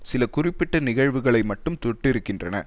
சில குறிப்பிட்ட நிகழ்வுகளை மட்டும் தொட்டிருக்கின்றன